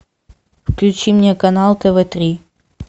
включи мне канал тв три